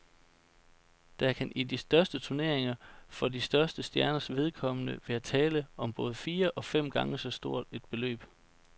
Der kan i de største turneringer for de største stjerners vedkommende være tale om både fire og fem gange så stort et beløb.